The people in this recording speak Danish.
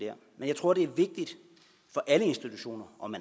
men jeg tror det er vigtigt for alle institutioner om